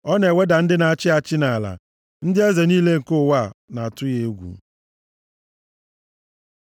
Ọ na-eweda ndị na-achị achị nʼala; ndị eze niile nke ụwa na-atụ ya egwu.